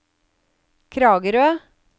Kragerø